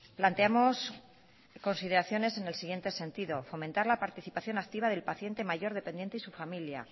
planteamos consideraciones en el siguiente sentido fomentar la participación activa del paciente mayor dependiente y su familia